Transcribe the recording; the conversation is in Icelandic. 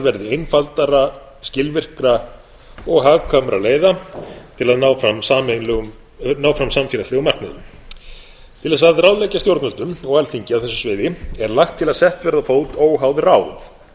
verði einfaldra skilvirkra og hagkvæmra leiða til að ná fram samfélagslegum markmiðum til þess að ráðleggja stjórnvöldum og alþingi á þessu sviði er lagt til að sett verði á fót óháð ráð